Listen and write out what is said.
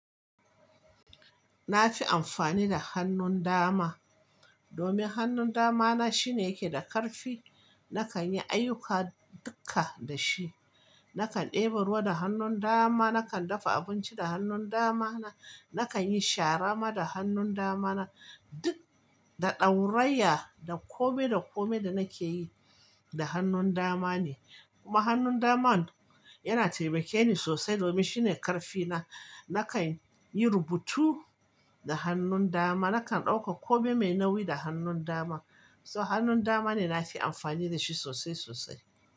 Na fi amfani da hannun dama, domin hannun dama na shine yake da ƙarfi. Nakan yi ayyuka dukka da shi. Nakan ɗeba ruwa da hannun dama, nakan dafa abinci da hannun dama na, nakan yi shara ma da hannun dama na. Duk da ɗaurayya da kome da kome da nake yi da hannun dama ne. Kuma hannun daman yana taimake ni sosai domin shine ƙarfi na. Nakan yi rubutu da hannun dama, nakan ɗauka kome mai nauyi da hannun dama. So hannun dama ne na fi amfani da shi sosai sosai.